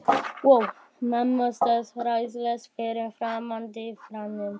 Mamma stóð ráðalaus fyrir framan dívaninn.